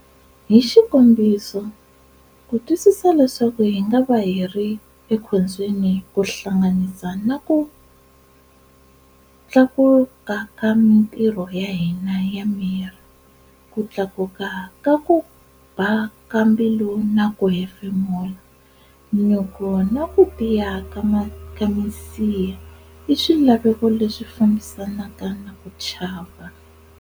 Hixikombiso, ku twisisa leswaku hi ngava hiri ekhombyeni ku hlanganisa na kutlakuka ka mintirho ya hina ya miri, Ku thlakuka ka kuba ka mbilu na ku hefemula, nyuku, na ku tiya ka misiha, iswilaveko leswi fambisanaka na ku chava.